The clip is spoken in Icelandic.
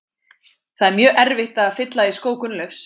Það er mjög erfitt að fylla í skó Gunnleifs.